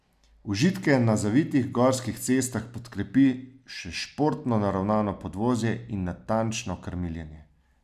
Užitke na zavitih gorskih cestah podkrepi še športno naravnano podvozje in natančno krmiljenje.